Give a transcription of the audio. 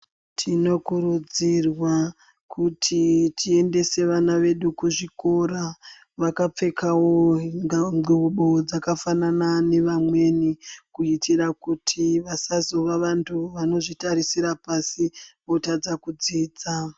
Tinokurudzirwa kuti tiendese ana edu kuzvikora vakapfekavo ndxubo dzakafanana nevamweni. Kuitira kuti vasazova vantu vanozvitarisira pasi votadza kudzidza.